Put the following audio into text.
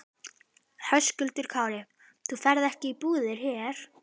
Höskuldur Kári: Þú ferð ekki í búðir hér?